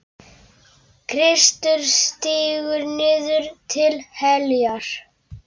Kristur stígur niður til heljar.